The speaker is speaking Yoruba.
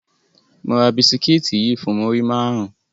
Mo ra bisikiti yii fun muri marun